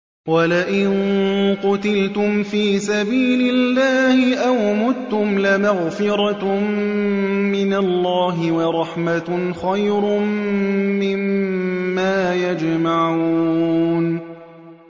وَلَئِن قُتِلْتُمْ فِي سَبِيلِ اللَّهِ أَوْ مُتُّمْ لَمَغْفِرَةٌ مِّنَ اللَّهِ وَرَحْمَةٌ خَيْرٌ مِّمَّا يَجْمَعُونَ